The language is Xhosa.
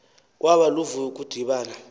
kwaba luvuyo ukudibana